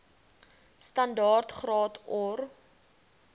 standaard graad or